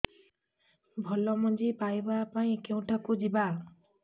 ଭଲ ମଞ୍ଜି ପାଇବା ପାଇଁ କେଉଁଠାକୁ ଯିବା